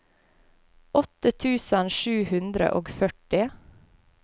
åtte tusen sju hundre og førti